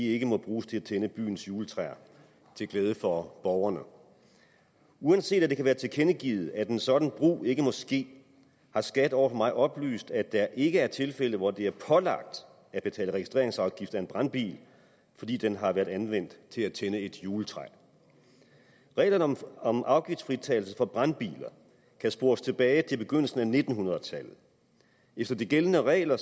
ikke må bruges til at tænde byens juletræer til glæde for borgerne uanset at det kan være tilkendegivet at en sådan brug ikke må ske har skat over for mig oplyst at der ikke er tilfældet hvor det er pålagt at betale registreringsafgift af en brandbil fordi den har været anvendt til at tænde et juletræ reglerne om afgiftsfritagelse for brandbiler kan spores tilbage til begyndelsen af nitten hundrede tallet efter de gældende regler